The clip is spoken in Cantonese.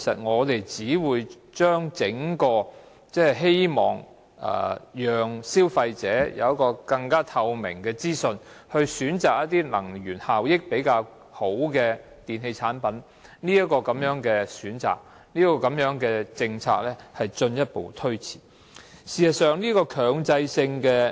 我們希望能讓消費者掌握更加透明的資訊，去選擇一些能源效益較佳的電器產品，如果此刻還要中止強制性標籤計劃，便會進一步推遲實施這項政策。